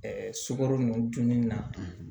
Ɛɛ sukaro nunnu dunni na